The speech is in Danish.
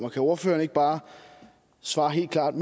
og kan ordføreren ikke bare svare helt klart